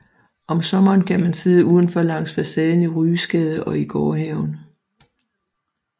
Om sommeren kan man sidde udenfor langs facaden i Ryesgade og i gårdhaven